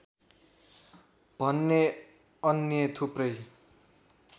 भने अन्य थुप्रै